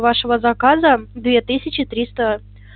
вашего заказа две тысячи триста